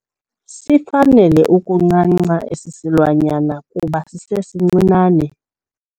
Sifanele ukuncanca esi silwanyana kuba sisesincinane.